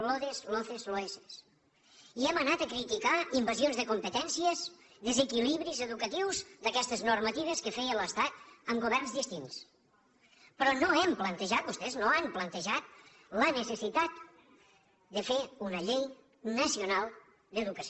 lode loce loece i hem anat a criticar invasions de competències desequilibris educatius d’aquestes normatives que feia l’estat amb governs distints però no hem plantejat vostès no han plantejat la necessitat de fer una llei nacional d’educació